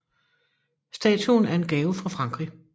Statuen er en gave fra Frankrig